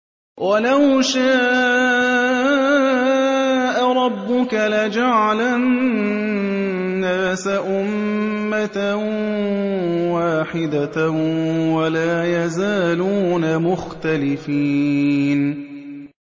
وَلَوْ شَاءَ رَبُّكَ لَجَعَلَ النَّاسَ أُمَّةً وَاحِدَةً ۖ وَلَا يَزَالُونَ مُخْتَلِفِينَ